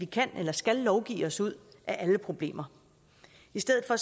kan eller skal lovgive os ud af alle problemer i stedet for